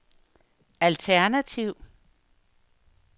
alternativ